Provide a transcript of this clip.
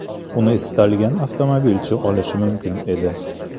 Uni istalgan avtomobilchi olishi mumkin edi.